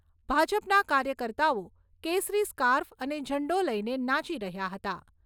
ભાજપના કાર્યકર્તાઓ કેસરી સ્કાર્ફ અને ઝંડો લઈને નાચી રહ્યા હતા.